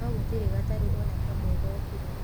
No gũtirĩ gataru ona kamwe gookire.